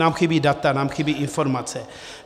Nám chybí data, nám chybí informace.